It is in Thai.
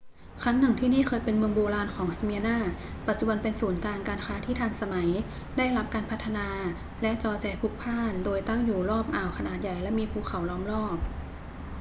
ครั้งหนึ่ง ที่นี่เคยเป็นเมืองโบราณของสเมียร์นา ปัจจุบันเป็นศูนย์กลางการค้าที่ทันสมัย ได้รับการพัฒนา และจอแจพลุกพล่าน โดยตั้งอยู่รอบอ่าวขนาดใหญ่และมีภูเขาล้อมรอบ